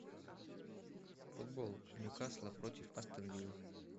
футбол ньюкасла против астон виллы